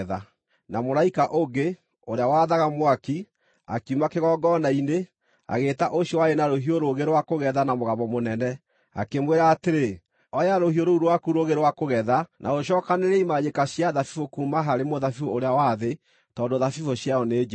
Na mũraika ũngĩ, ũrĩa wathaga mwaki, akiuma kĩgongona-inĩ, agĩĩta ũcio warĩ na rũhiũ rũũgĩ rwa kũgetha na mũgambo mũnene, akĩmwĩra atĩrĩ, “Oya rũhiũ rũu rwaku rũũgĩ rwa kũgetha, na ũcookanĩrĩrie imanjĩka cia thabibũ kuuma harĩ mũthabibũ ũrĩa wa thĩ tondũ thabibũ ciayo nĩ njĩru.”